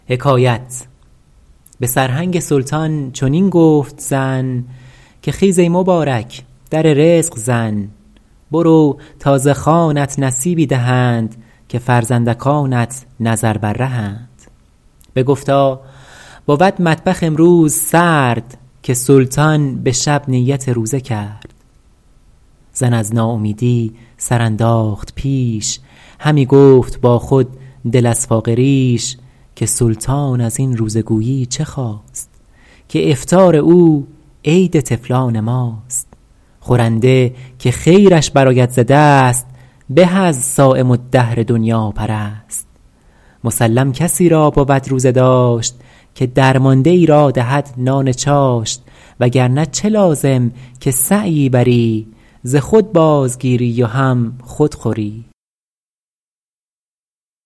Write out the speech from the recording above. به سرهنگ سلطان چنین گفت زن که خیز ای مبارک در رزق زن برو تا ز خوانت نصیبی دهند که فرزندکانت نظر بر رهند بگفتا بود مطبخ امروز سرد که سلطان به شب نیت روزه کرد زن از ناامیدی سر انداخت پیش همی گفت با خود دل از فاقه ریش که سلطان از این روزه گویی چه خواست که افطار او عید طفلان ماست خورنده که خیرش برآید ز دست به از صایم الدهر دنیاپرست مسلم کسی را بود روزه داشت که درمانده ای را دهد نان چاشت وگرنه چه لازم که سعیی بری ز خود بازگیری و هم خود خوری